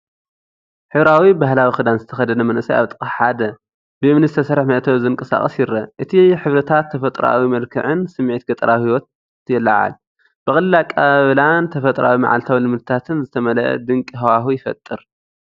ሕብራዊ ባህላዊ ክዳን ዝተኸድነ መንእሰይ ኣብ ጥቓ ሓደ ብእምኒ ዝተሰርሐ መእተዊ ዝንቀሳቐስ ይርአ። እቲ ሕብርታትን ተፈጥሮኣዊ መልክዕን ስምዒት ገጠራዊ ህይወት የለዓዕል፣ ብቐሊል ኣቀባብላን ተፈጥሮኣዊ መዓልታዊ ልምድታትን ዝመልአ ድንቂ ሃዋህው ይፈጥር።